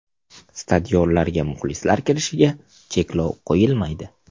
Stadionlarga muxlislar kirishiga cheklov qo‘yilmaydi.